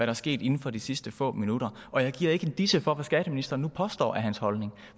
er sket inden for de sidste få minutter og jeg giver ikke en disse for hvad skatteministeren nu påstår er hans holdning